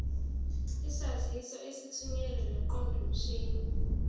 izaziso ezithunyelwe ngeqondomshini